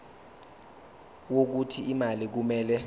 wokuthi imali kumele